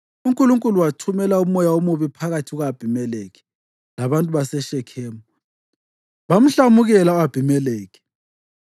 uNkulunkulu wathumela umoya omubi phakathi kuka-Abhimelekhi labantu baseShekhemu bamhlamukela u-Abhimelekhi.